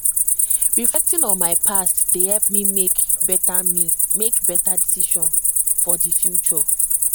reflecting on my past dey help me make better me make better decisions for the future